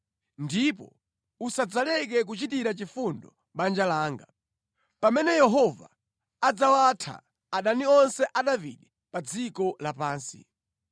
Ndipo usadzaleke kuchitira chifundo banja langa. Pamene Yehova adzawatha adani onse a Davide pa dziko lapansi.”